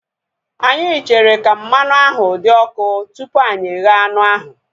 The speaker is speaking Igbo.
Anyị chere ka mmanụ ahu dị ọkụ tupu anyị eghe anụ ahu